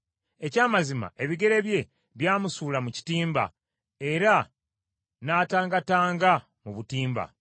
Eky’amazima ebigere bye byamusuula mu kitimba era n’atangatanga mu butimba.